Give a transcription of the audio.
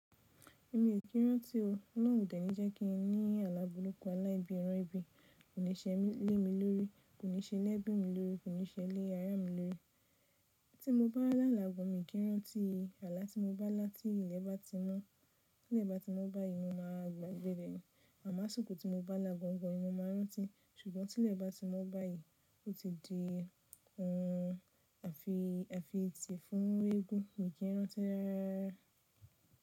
Èmi ò kí rántí o, náà ò tẹ́ni jẹ́ kí n ní alá buruku ala ibí iran ibi, kò ní ṣe lé mi lórí, kò ní ṣe lé ẹbí mi lórí, kò ní ṣe lé ara mi lórí. Tí mo bá lala gan, mi o kí rántí, àlá tí mo bá lá tí ilẹ̀ bá ti mọ́, tí ilẹ̀ bá ti mọ́ báyìí mo má gbagbe ni Àmáṣùkù tí mo bá là gangan, mo máa rántí, ṣùgbọ́n tí ilẹ̀ bá ti mọ́ báyìí, ó ti di òhun a fi, a fi tì fún eégún, mi kí rántí rararara.